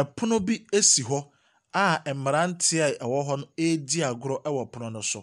Ɛpono bi esi hɔ a mmaranteɛ a ɛwɔ hɔ no eedi agorɔ ɛwɔ ɛpono no so.